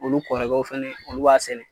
Olu kɔrɔkɛw fɛnɛ olu b'a sɛnɛ.